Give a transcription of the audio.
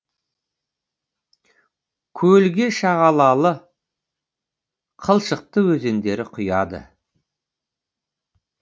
көлге шағалалы қылшықты өзендері құяды